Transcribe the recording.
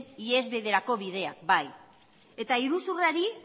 ihesbideak baita iruzurrari